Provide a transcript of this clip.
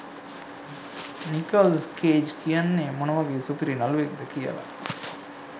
Nicholls Cage කියන්නෙ මොන වගේ සුපිරි නළුවෙක්ද කියලා.